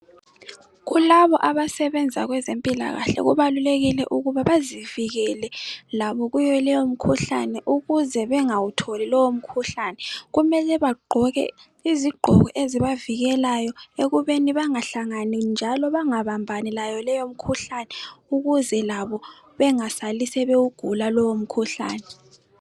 Kulabo abasebenza kwezempilakahle kubalulekile ukuthi bezivikele labo kuyoleyomikhuhlane ukuze bengawutholi lowomkhuhlane. Kumele bagqoke izigqoko ezibavikelayo ekubeni bangahlangani njalo bangabambani layo leyo mkhuhlane ukuze bengasali sebewugula lowomkhuhlane